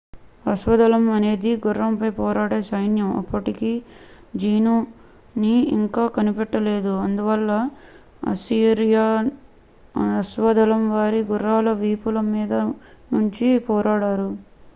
అశ్వదళం అనేది గుర్రంపై పోరాడే సైన్యం అప్పటికి జీను ని ఇంకా కనిపెట్టలేదు అందువల్ల అస్సిరియన్ అశ్వదళం వారి గుర్రాల వీపుల మీద నుంచి పోరాడారు